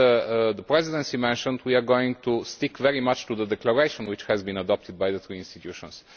As the Presidency mentioned, we are going to stick very much to the declaration which has been adopted by the two institutions.